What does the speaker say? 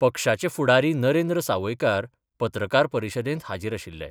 पक्षाचे फुडारी नरेंद्र सावयकार पत्रकार परिशदेंत हाजीर आशिल्ले.